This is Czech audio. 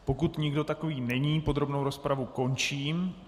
Pokud nikdo takový není, podrobnou rozpravu končím.